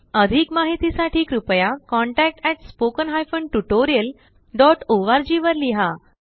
अधिक माहिती साठी कृपया contactspoken tutorialorg वर लिहा